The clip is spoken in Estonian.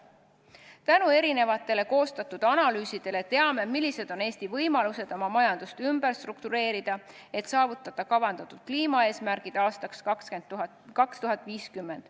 Tänu mitmetele analüüsidele teame, millised on Eesti võimalused oma majandust ümber struktureerida, et saavutada kavandatud kliimaeesmärgid aastaks 2050.